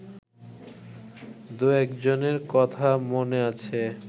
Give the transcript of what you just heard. দু-একজনের কথা মনে আছে